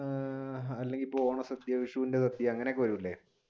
അല്ലെങ്കിൽ ഇപ്പൊ ഓണസദ്യ വിശൂന്റെ സദ്യ അങ്ങനെയൊക്കെ വരൂലേ?